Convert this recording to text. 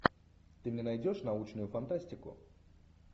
ты мне найдешь научную фантастику